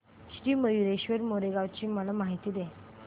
श्री मयूरेश्वर मोरगाव ची मला माहिती दे